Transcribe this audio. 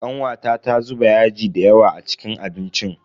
Kanwata ta zuba yaji dayawa a cikin abincin.